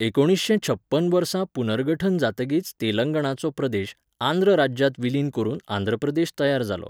एकुणिशें छप्पन वर्सा पुनर्गठन जातकीच तेलंगाणाचो प्रदेश, आंध्र राज्यांत विलीन करून आंध्र प्रदेश तयार जालो.